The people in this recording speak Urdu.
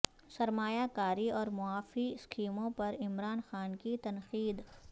سرمایہ کاری اور معافی اسکیموں پر عمران خان کی تنقید